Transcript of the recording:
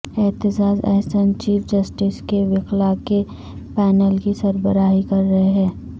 Aitzaz Ahsan chief justice کے وکلاء کے پینل کی سربراہی کر رہے ہیں